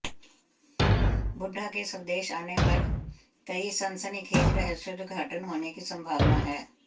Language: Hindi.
बुड्ढा के स्वदेश आने पर कई सनसनीखेज रहस्योद्घाटन होने की सम्भावना है